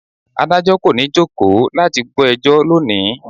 Adájọ́ kò ní jókòó láti gbọ́ ẹjọ́ lónìí.